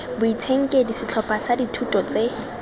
boitshenkedi setlhopha sa dithuto tse